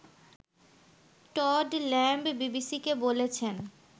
Todd Lamb বিবিসিকে বলেছেন